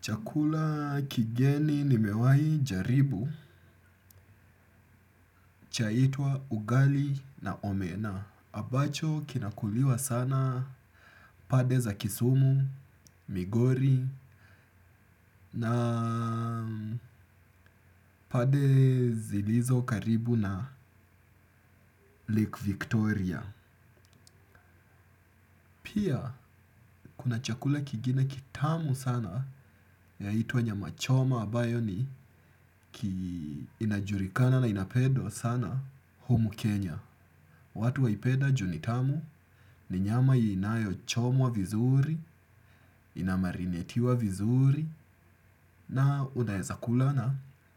Chakula kigeni nimewai jaribu chaitwa ugali na omena. Ambacho kinakuliwa sana pande za kisumu, migori na pande zilizo karibu na Lake Victoria. Pia kuna chakula kingine kitamu sana yaitwa nyama choma ambayo ni inajulikana na inapendwa sana humu kenya. Watu waipeda juu ni tamu ni nyama inayo chomwa vizuri, inamarinetiwa vizuri na unaeza kula na